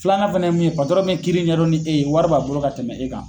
Filanan fana ye mun patɔrɔn bɛ kiiri ŋɛdɔn ni e ye wari b'a bolo ka tɛmɛ e kan.